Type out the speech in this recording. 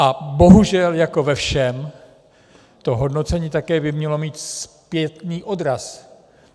A bohužel jako ve všem to hodnocení také by mělo mít zpětný odraz.